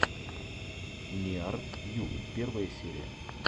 ниар ю первая серия